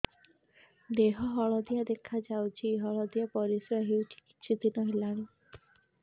ଦେହ ହଳଦିଆ ଦେଖାଯାଉଛି ହଳଦିଆ ପରିଶ୍ରା ହେଉଛି କିଛିଦିନ ହେଲାଣି